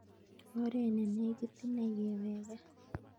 Oret ne negit inei kewek kaa